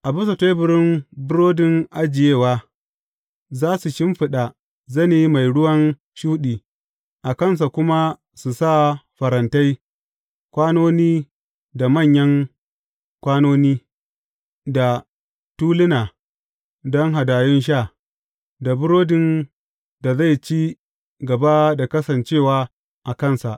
A bisa teburin Burodin Ajiyewa, za su shimfiɗa zane mai ruwan shuɗi, a kansa kuma su sa farantai, kwanoni da manyan kwanoni, da tuluna don hadayun sha; da burodin da zai ci gaba da kasancewa a kansa.